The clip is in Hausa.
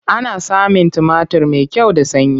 Ana samun tumatir mai kyau da sanyi.